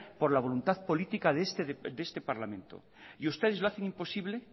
por la voluntad política de este parlamento y ustedes lo hacen imposible